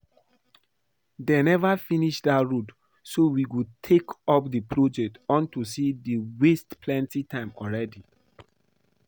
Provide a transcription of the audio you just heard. Dey never finish dat road so we go take up the project unto say dey don waste plenty time already